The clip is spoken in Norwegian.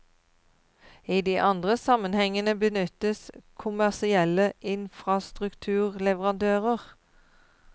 I de andre sammenhengene benyttes kommersielle infrastrukturleverandører.